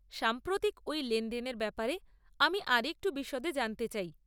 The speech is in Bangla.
সাম্প্রতিক ওই লেনদেনের ব্যাপারে আমি আরেকটু বিশদে জানতে চাই।